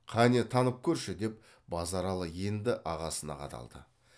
кәне танып көрші деп базаралы енді ағасына қадалды